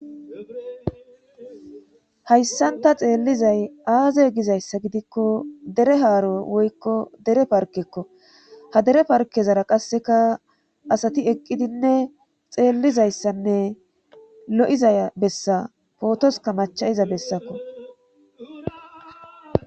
Hayssanta xeellizay aaze gizayssa gidikko dere haaro woykko dere parkekko ha dere parkezara qasseka asati eqqidinne xeellizayssanne lo'izaya bessa pootoska macha iza bessakko.